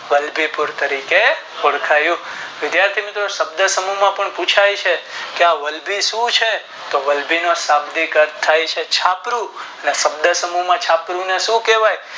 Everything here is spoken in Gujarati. વલભી પૂર તરીકે ઓળખાયુંતો વિધાથી મિત્રો શબ્દ સમૂહ માં પણ પુછાય છે તો આ વલભી શું છે તો વલભી ના સામે થાય છે છાપરું ને શબ્દ સમૂહ માં છાપરું એટલેશું થાય છે